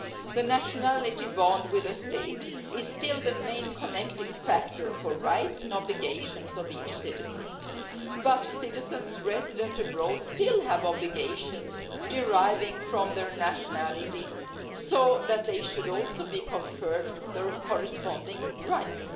The nationality bond with a state is still the main connecting factor for the rights and obligations of each citizen, but citizens resident abroad still have obligations deriving from their nationality so they should also be conferred their corresponding rights.